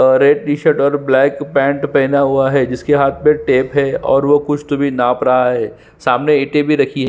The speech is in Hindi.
और रेड टीशर्ट और ब्लैक पेंट पहना हुआ है जिसके हाँथ में टेप है और वो कुस्ट भी नाप रहा है सामने इटे भी रही हुई है।